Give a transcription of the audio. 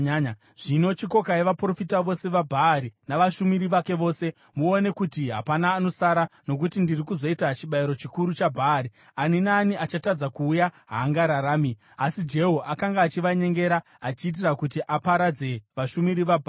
Zvino chikokai vaprofita vose vaBhaari, navashumiri vake vose. Muone kuti hapana anosara, nokuti ndiri kuzoita chibayiro chikuru chaBhaari. Ani naani achatadza kuuya haangararami.” Asi Jehu akanga achivanyengera achiitira kuti aparadze vashumiri vaBhaari.